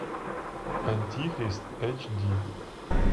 антихрист эйч ди